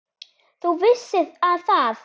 ÞÚ VISSIR AÐ ÞAÐ